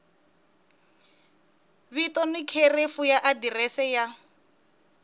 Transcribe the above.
vito ni khirefu adirese ya